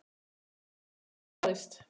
Það markmið náðist.